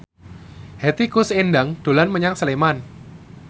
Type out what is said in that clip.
Hetty Koes Endang dolan menyang Sleman